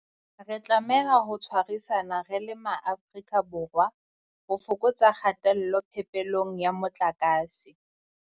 Re tlameha ho tshwarisana re le Maafrika Borwa ho fokotsa kgatello phepelong ya motlakase.